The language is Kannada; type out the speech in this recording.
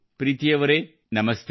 ಪ್ರೀತಿ ಅವರೇ ನಮಸ್ತೆ